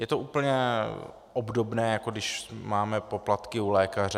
Je to úplně obdobné, jako když máme poplatky u lékaře.